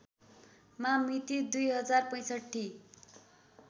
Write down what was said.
मा मिति २०६५